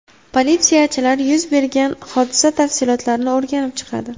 Politsiyachilar yuz bergan hodisa tafsilotlarini o‘rganib chiqadi.